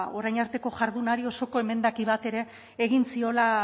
orain arteko jardunari osoko zuzenketa bat ere